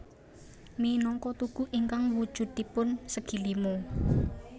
Minangka tugu ingkang wujudipun segi lima